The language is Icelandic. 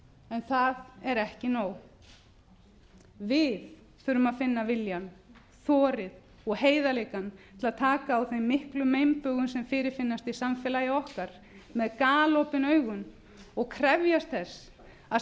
en það er ekki nóg við þurfum að finna viljann þorið og heiðarleikann til að taka á þeim miklu meinbugum sem fyrirfinnast í samfélagi okkar með galopin augun og krefjast þess að